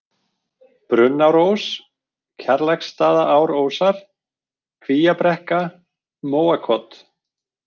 Brunnárós, Kjarlaksstaðaárósar, Kvíabrekka, Móakot